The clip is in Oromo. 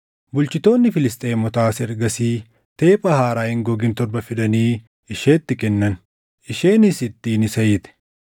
Bulchitoonni Filisxeemotaas ergasii teepha haaraa hin gogin torba fidanii isheetti kennan; isheenis ittiin isa hiite.